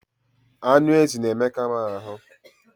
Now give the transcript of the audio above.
Anụ ezi na-emeka m ahụ.